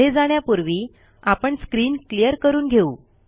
पुढे जाण्यापूर्वी आपण स्क्रीन क्लियर करून घेऊ